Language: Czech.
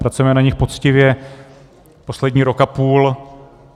Pracujeme na nich poctivě poslední rok a půl.